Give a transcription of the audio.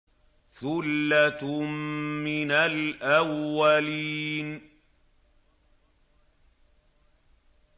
ثُلَّةٌ مِّنَ الْأَوَّلِينَ